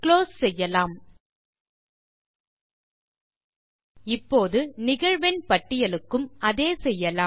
close செய்யலாம் இப்போது நிகழ்வெண் பட்டியலுக்கும் அதே செய்யலாம்